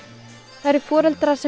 það eru foreldrar sem